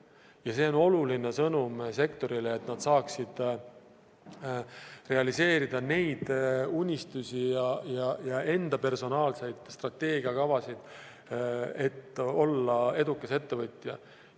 Ja see on oluline sõnum sektorile, et nad saaksid realiseerida neid unistusi ja enda personaalseid strateegiakavasid, et olla edukas ettevõtja.